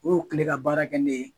O ye kile ka baara kɛ ne ye.